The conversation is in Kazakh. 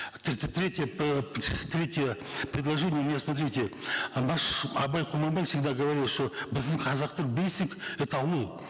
третье третье предложение у меня смотрите наш абай құнанбаев всегда говорил что біздің қазақтың бесік это аул